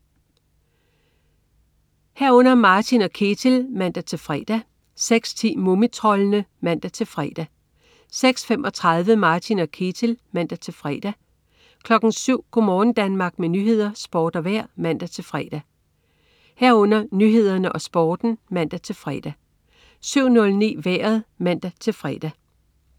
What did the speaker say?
06.00 Martin og Ketil (man-fre) 06.10 Mumitroldene (man-fre) 06.35 Martin og Ketil (man-fre) 07.00 Go' morgen Danmark med nyheder, sport og vejr (man-fre) 07.00 Nyhederne og Sporten (man-fre) 07.09 Vejret (man-fre)